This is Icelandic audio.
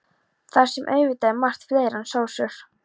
Þar sem auðvitað er margt fleira en sósur.